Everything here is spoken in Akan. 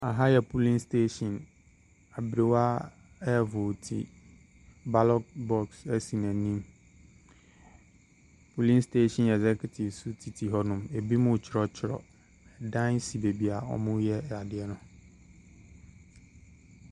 Aha yɛ polling station abrɛwa ɛvoti ballot box ɛsi nanim polling station excutives tete hɔ nom ebimu twerɛ twerɛ adan si beaeɛ wɔ mu yɛ adeɛ no.